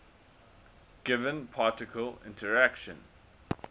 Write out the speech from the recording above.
given particle interaction